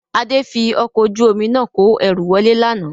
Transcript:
Adé fi ọkọ̀ ojú omi náà kò ẹrú wọlé lánàá